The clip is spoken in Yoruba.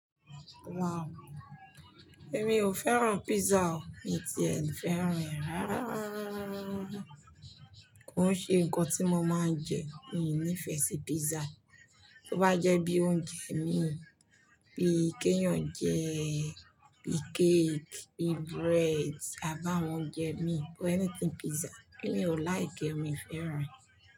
Wow! Èmi ò fẹ́ràn pizza o, èmi ti èmi fẹ́ràn rárá, kò n ṣe nǹkan tí mo máa ń jẹ. Mi nífẹ̀ẹ́ sí pizza. To bá jẹ́ bí óún jẹ mí, bí kéèyàn jẹ, bí cake, bí bread, àbi áwọ́n ounjẹ mí, but anything pizza, èmi ò like e, mi fẹ́ràn e.